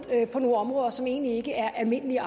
nogle områder som egentlig ikke er almindelige